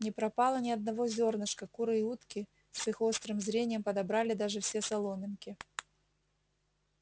не пропало ни одного зёрнышка куры и утки с их острым зрением подобрали даже все соломинки